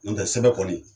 N'o tɛ sɛbɛ kɔni